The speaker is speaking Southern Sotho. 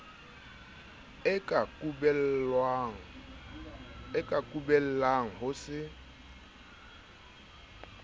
o ka kubellang ho se